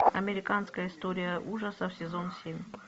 американская история ужасов сезон семь